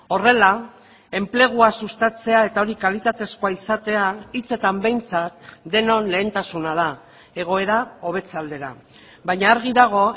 horrela enplegua sustatzea eta hori kalitatezkoa izatea hitzetan behintzat denon lehentasuna da egoera hobetze aldera baina argi dago